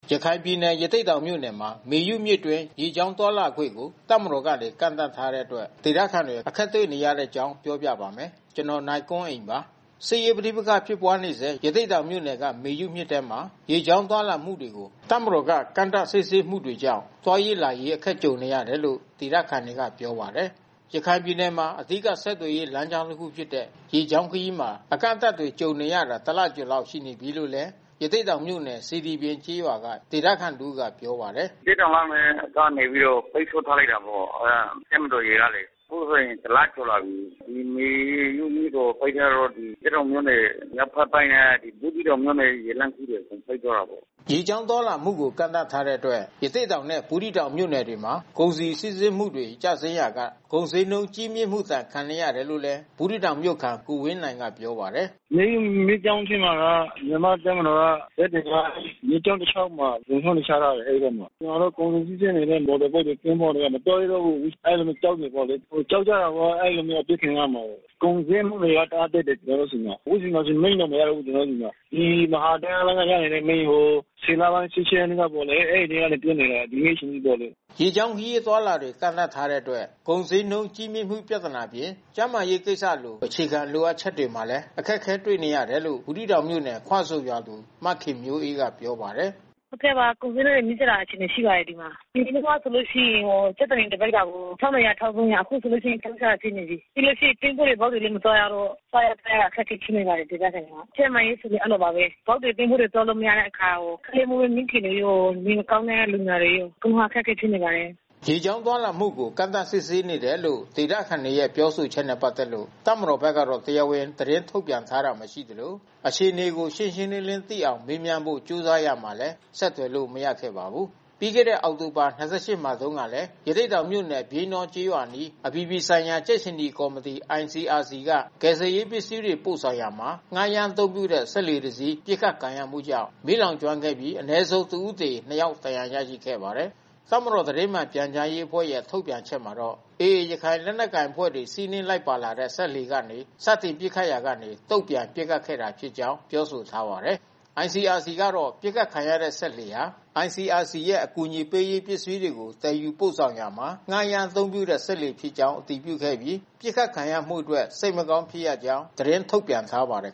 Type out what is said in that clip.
ရခိုင်ပြည်နယ် ရသေ့တောင်မြို့နယ်မှာ မေယုမြစ်အတွင်း ရေကြောင်းသွားလာခွင့်ကို တပ်မတော်က ကန့်သတ်ထားတဲ့အတွက် ဒေသခံတွေ အခက်တွေ့နေရတဲ့အကြောင်းကို ဗွီအိုအေမြန်မာပိုင်းသတင်းထောက် ကိုနိုင်ကွန်းအိန်က ပြောပြပေးပါမယ်။ စစ်ရေးပဋိပက္ခဖြစ်ပွါးနေဆဲ ရသေ့တောင်မြို့နယ်က မေယုမြစ်ထဲမှာ ရေကြောင်း သွားလာမှုတွေကို တပ်မတော်က ကန့်သတ်စစ်ဆေးမှုတွေကြောင့် သွားရေး၊ လာရေး အခက်ကြုံနေရတယ်လို့ ဒေသခံတွေက ပြောပါတယ်။ ရခိုင်ပြည်နယ်မှာ အဓိက ဆက်သွယ်ရေး လမ်းကြောင်းတခုဖြစ်တဲ့ ရေကြောင်းခရီးမှာ အကန့်အသတ်တွေကြုံနေရတာ တလကျော်လောက် ရှိနေပြီလို့လည်း ရသေ့တောင်မြို့နယ် စေတီပြင်ကျေးရွာက ဒေသခံတဦးက ပြောပါတယ်။ “ရသေ့တောင်ကနေ ပိတ်ဆို့ထားလိုက်တယ်ပေါ့။ အဲဒါ တပ်မတော်ရေကလေ။ အခုဆိုရင်တလကျော်လာပြီ။ မေယုမြစ်ပေါ် ပိတ်ထားတော့ ရသေ့တောင်မြို့နယ် မြောက်ဘက်ပိုင်းနဲ့ ဘူးသီးတောင်မြို့နယ် ရေလမ်းခရီးတွေ ပိတ်သွားတာပေါ့။” ရေကြောင်းသွားလာမှုကို ကန့်သတ်ထားတဲ့အတွက် ရသေ့တောင်နဲ့ ဘူးသီးတောင်မြို့နယ်တွေမှာ ကုန်စည်စီးဆင်းမှုတွေ ကျဆင်းလာရာက ကုန်ဈေးနှုန်းကြီးမြင့်မှုဒဏ် ခံနေရတယ်လို့လည်း ဘူးသီးတောင်မြို့ခံ ကိုဝင်းနိုင်ကပြောပါတယ်။ “မေယုမြစ်ကြောင်းထဲမှာက မြန်မာ့တပ်မတော်က ဇက်တွေက မြစ်ကြာင်းတလျှောက်မှာ လုံခြုံရေးတွေ ချထားတယ်။ အဲဒီဘက်မှာ။ ကျနော်တို့ ကုန်စည်စီးဆင်းနေတဲ့ မော်တော်ဘုတ်တွေ သင်္ဘောတွေက မသွားရဲတော့ဘူး။ အဲဒီလိုမျိုး ကြောက်တယ်ပေါ့လေ။ ကြောက်ကြတာပေါ့ အဲဒီလိုမျိုးအပစ်ခံရမှာကို။ ကုန်ဈေးနှုန်းတွေက တအားတက်တယ်။ ကျနော်တို့ ဆီမှာ။ အခုဆိုမီးတောင်မရဘူး။ ကျနော်တို့ဆီမှာ။ ဒီမဟာဓါတ်အားလိုင်းက ရနေတဲ့မီးကို ၁၀ လပိုင်း ၁၈ ရက်နေ့ကပေါ့လေ။ အဲဒီအချိန်ကတည်းက ပြတ်နေတယ်။ ကနေ့အချိန်ထိပေါ့။” ရေကြောင်းခရီး အသွားအလာတွေ ကန့်သတ်ထားတဲ့အတွက် ကုန်ဈေးနှုန်းကြီးမြင့်မှု ပြဿနာအပြင် ကျန်းမာရေးကိစ္စလို အခြေခံ လိုအပ်ချက်တွေမှာလည်း တွေ့နေတယ်လို့ ဘူးသီးတောင်မြို့နယ် ခွဆုံရွာသူမခင်မျိုးအေးကပြောပါတယ်။ “အရင်တုန်းကဆိုလို့ရှိရင် ကြက်သွန်နီ တပိဿကို ၁,၂၀၀၊ ၁,၃၀၀။ အခုဆိုလို့ရှိရင် ၁,၆၀၀ ဖြစ်နေပြီ။ ပြီးလို့ရှိရင် သင်္ဘောတွေ၊ ဘုတ်တွေ မသွားရတော့ စားရသောက်ရအခက်ခဲဖြစ်နေပါတယ်... ဒေသခံတွေက။ ကျန်းမာရေးကလည်း အဲဒီလိုပါပဲ။ ဘုတ်တွေ၊ သင်္ဘောတွေ သွားလို့မရတဲ့အခါ ကလေးမွေးမိခင်တွေ နေမကောင်းတဲ့လူနာတွေ အခုမှာအခက်ခဲဖြစ်နေပါတယ်။” ရေကြောင်းသွားလာမှုတွေကို ကန့်သတ်စစ်ဆေးနေတယ်လို့ ဒေသခံတွေရဲ့ ပြောဆိုချက်တွေနဲ့ ပတ်သက်လို့ တပ်မတော်ဘက်ကတော့ တရားဝင်သတင်းထုတ်ပြန်ထားတာ မရှိသလို၊ အခြေအနေကို ရှင်းရှင်းလင်းလင်း သိရအောင် မေးမြန်းဖို့ ကြိုးစားရမှာလည်း ဆက်သွယ်လို့ မရခဲ့ပါဘူး။ ပြီးခဲ့တဲ့အောက်တိုဘာ ၂၈ မှာတုန်းကလည်း ရသေ့တောင်မြို့နယ် ပြိန်းတောကျေးရွာအနီး အပြည်ပြည်ဆိုင်ရာ ကြက်ခြေနီကော်မတီ (ICRC) က ကယ်ဆယ်ရေးပစ္စည်းတွေ ပို့ဆောင်ရာမှာ ငှားရမ်းအသုံးပြုတဲ့ စက်လှေတစင်း ပစ်ခတ်ခံရမှုကြောင့် မီးလောင်ကျွမ်းသွားပြီး အနည်းဆုံး တဦးသေ ၂ ယောက် ဒဏ်ရာရခဲ့ပါတယ်။ တပ်မတော် သတင်းမှန်ပြန်ကြားရေးအဖွဲ့ရဲ့ ထုတ်ပြန်ချက်မှာတော့ AA ရခိုင်လက်နက်ကိုင်အဖွဲ့တွေ စီးနင်းလိုက်ပါလာတဲ့ စက်လှေကနေ စတင်ပစ်ခတ်ရာက တုံ့ပြန်ပစ်ခတ်ခဲ့တာဖြစ်ကြာင်း ပြောဆိုထားပါတယ်။ ICRC ကတော့ ပစ်ခတ်ခံရတဲ့ စက်လှေဟာ ICRC ရဲ့ အကူအညီပေးရေး ပစ္စည်းတွေကို သယ်ယူပို့ဆောင်ရာမှာ ငှားရမ်းအသုံးပြုတဲ့ စက်လှေဖြစ်ကြောင်း အတည်ပြုခဲ့ပြီး ပစ်ခတ်ခံရမှုအတွက် စိတ်မကောင်းဖြစ်ရကြောင်း သတင်းထုတ်ပြန်ထားပါတယ်